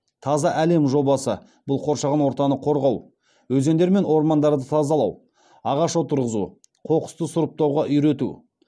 таза әлем жобасы бұл қоршаған ортаны қорғау өзендер мен ормандарды тазалау ағаш отырғызу қоқысты сұрыптауға үйрету